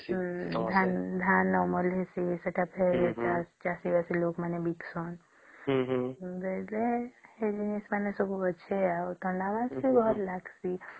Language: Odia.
ଧାନ ଅମଳ ହେଇସେଇ ସେଟା ଫେର ଚାଷୀ ବାସି ଲୋକ ମାନେ ବିକୁସନ ବୋଇଲେ ଆଉ ସେଇ ସବୁ ମାନେ ଅଛେ ଆଉ ଥଣ୍ଡା ମାସେ ଭଲ ଲାଗିଁସି